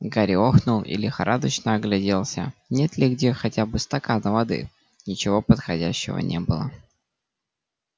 гарри охнул и лихорадочно огляделся нет ли где хотя бы стакана воды ничего подходящего не было